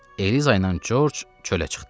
Eliza ilə Corc çölə çıxdılar.